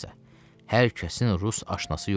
Xülasə, hər kəsin rus aşinası yoxdur.